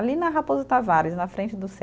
Ali na Raposo Tavares, na frente do